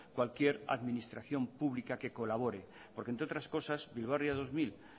cualquier administración pública que colabore porque entre otras cosas bilbao ría dos mil